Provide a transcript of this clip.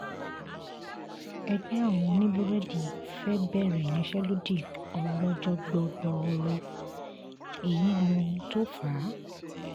ẹgbẹ́ àwọn oníbúrẹ́dì fẹ́ẹ́ bẹ̀rẹ̀ ìyanṣẹ́lódì ọlọ́jọ́ gbọ́gboro èyí lóhun tó fà á